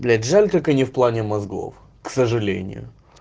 блять жаль только не в плане мозгов к сожалению